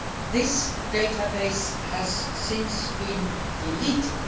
origin. This database has since been deleted.